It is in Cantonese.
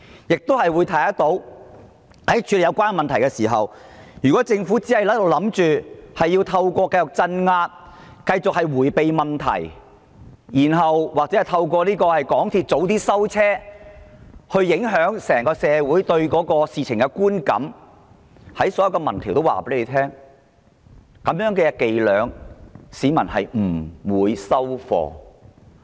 由此可見，在處理有關問題時，如果政府以為可繼續透過鎮壓、迴避問題或港鐵提早關閉，左右整體社會對是次事件的觀感，所有民調的結果都已顯示，市民不會接受這種伎倆。